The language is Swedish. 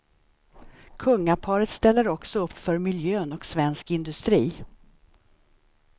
Kungaparet ställer också upp för miljön och svensk industri.